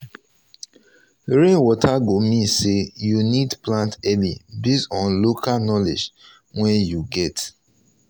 rainwater go mean say you need plant early based on local knowledge wey you get